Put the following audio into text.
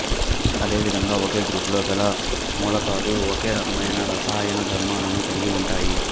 అదే విధంగా ఒకే గ్రూపులో గల మూలకాలు ఒకే రకమైన రసాయన ధర్మాలను కలిగి ఉంటాయి